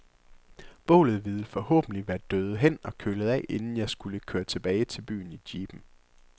Bålet ville forhåbentlig være døet hen og kølet af, inden jeg skulle køre tilbage til byen i jeepen.